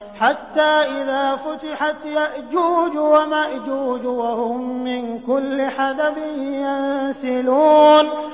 حَتَّىٰ إِذَا فُتِحَتْ يَأْجُوجُ وَمَأْجُوجُ وَهُم مِّن كُلِّ حَدَبٍ يَنسِلُونَ